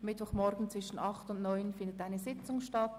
Dann werden wir über die zusätzliche Session beraten.